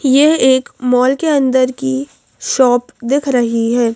यह एक मॉल के अंदर की शॉप दिख रही है।